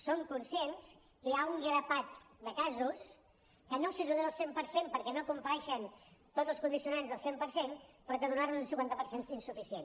som conscients que hi ha un grapat de casos que no s’ajuden al cent per cent perquè no compleixen tots els condicionants del cent per cent però que donar los el cinquanta per cent és insuficient